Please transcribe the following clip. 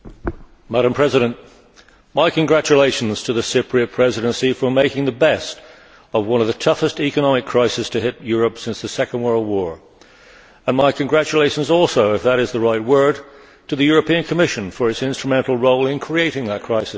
Madam President, my congratulations to the Cyprus Presidency for making the best of one of the toughest economic crisis to hit Europe since the Second World War, and my congratulations also if that is the right word to the European Commission for its instrumental role in creating that crisis.